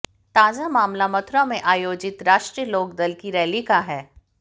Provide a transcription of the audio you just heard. ताजा मामला मथुरा में आयोजित राष्ट्रीय लोकदल की रैली का है